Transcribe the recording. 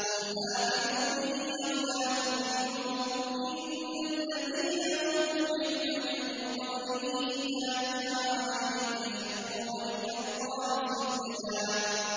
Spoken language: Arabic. قُلْ آمِنُوا بِهِ أَوْ لَا تُؤْمِنُوا ۚ إِنَّ الَّذِينَ أُوتُوا الْعِلْمَ مِن قَبْلِهِ إِذَا يُتْلَىٰ عَلَيْهِمْ يَخِرُّونَ لِلْأَذْقَانِ سُجَّدًا